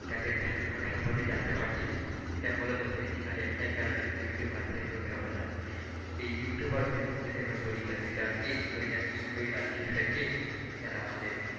তাদের ধ্যানধারণা সম্পর্কে জানতে পারছি এটা মূলত হয়েছে খালি একটাই কারণে ইউটিউব আর ফেসবুকের অবদান। এই ইউটিউব আর ফেসবুক যদি আমরা বলি তাহলে দুইটা king দুইটা king দুইরাজ্যের দুইটা king যারা আমাদের,